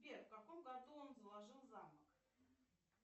сбер в каком году он заложил замок